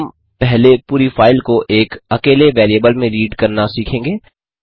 हम पहले पूरी फाइल को एक अकेले वैरिएबल में रीड करना सीखेंगे